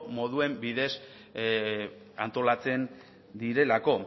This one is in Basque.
moduen bidez antolatzen direlako